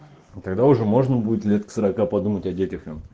тогда уже можно будет лет к сорока подумать о детях там